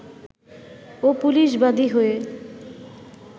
ও police বাদী হয়ে